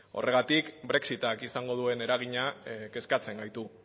horregatik brexit ak izango duen eragina kezkatzen gaitu